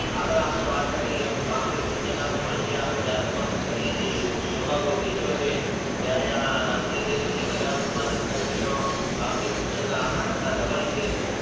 આગળ આપણે વાત કરી એમ આપણી સૂચકસ પણ આપણે જાતે પસંદ કરીયે છીએ એમાં બહુ નીચો છે જયારે આ અન્ય દેશો વધારે ઉત્પાદન કરે છે એનો આપણી સૂચક આપણા કરતા Double